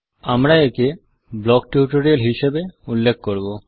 আমরা একে block tutorial হিসাবে উল্লেখ করব